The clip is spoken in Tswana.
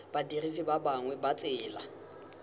badirisi ba bangwe ba tsela